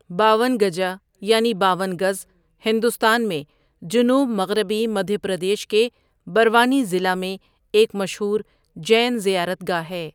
باونگجا یعنی باون گز، ہندوستان میں جنوب مغربی مدھیہ پردیش کے بروانی ضلع میں ایک مشہور جین زیارت گاہ ہے۔